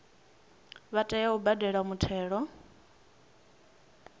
vha tea u badela muthelo